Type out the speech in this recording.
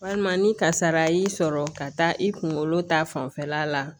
Walima ni kasara y'i sɔrɔ ka taa i kunkolo ta fanfɛla la